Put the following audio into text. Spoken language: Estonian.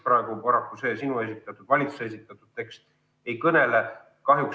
Paraku kaitsest ei kõnele see valitsuse esitatud tekst mitte sendi eestki.